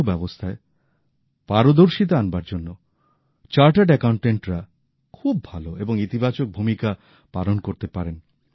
অর্থব্যবস্থায় পারদর্শিতা আনবার জন্য চার্টার্ড অ্যাকাউন্টটেন্টরা খুব ভাল এবং ইতিবাচক ভূমিকা পালন করতে পারেন